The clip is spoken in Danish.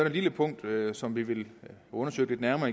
et lille punkt som vi vil undersøge lidt nærmere